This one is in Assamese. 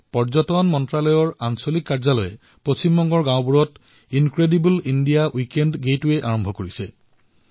পৰ্যটন মন্ত্ৰালয়ৰ আঞ্চলিক কাৰ্যালয়ে মাহটো আৰম্ভ হোৱাৰ সময়তেই পশ্চিমবংগৰ গাঁওসমূহত এক ইনক্ৰেডিবল ইণ্ডিয়া উইকেণ্ড গেটৱে মুকলি কৰিলে